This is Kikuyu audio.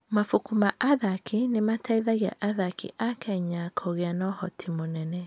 Mabuku ma athaki nĩ mateithagia athaki a Kenya kũgĩa na ũhoti mũnene.